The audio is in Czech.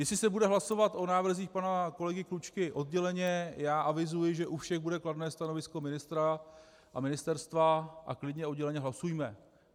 Jestli se bude hlasovat o návrzích pana kolegy Klučky odděleně, já avizuji, že u všech bude kladné stanovisko ministra a ministerstva a klidně odděleně hlasujme.